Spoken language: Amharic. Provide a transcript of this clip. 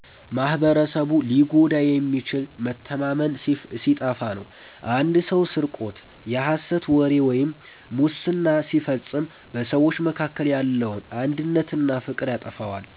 ማኅበረሰቡ ሊጎዳ የሚችለው መተማመን ሲጠፋ ነው። አንድ ሰው ስርቆት፣ የሐሰት ወሬ ወይም ሙስና ሲፈጽም በሰዎች መካከል ያለውን አንድነትና ፍቅር ያጠፋዋል።